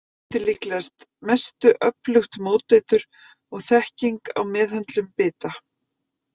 Þarna skiptir líklega mestu öflugt móteitur og þekking á meðhöndlun bita.